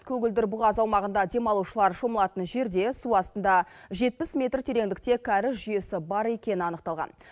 көгілдір бұғаз аумағында демалушылар шомылатын жерде су астында жетпіс метр тереңдікте кәріз жүйесі бар екені анықталған